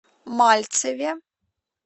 мальцеве